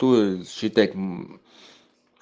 то считать мм